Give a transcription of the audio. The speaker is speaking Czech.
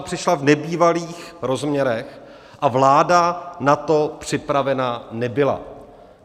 A přišla v nebývalých rozměrech a vláda na to připravena nebyla.